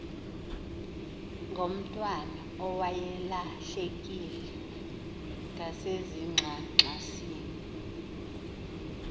ngomntwana owayelahlekile ngasezingxangxasini